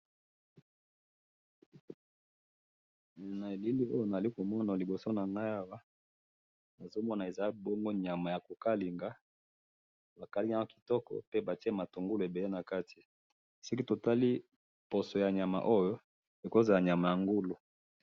na elili oyo nazali komona liboso nangayi awa nazomona bongo nyama ezali ya kokalinga ba kalinga yango kitoko naba bitungulu ebele nakati soki tomoni poso ya nyama yango ekoki kozala nyama ya ngulu